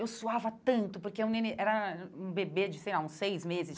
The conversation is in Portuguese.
Eu suava tanto, porque o neném era um bebê de, sei lá, uns seis meses.